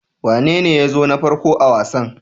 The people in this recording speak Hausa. Wanene ya zo na farko a wasan?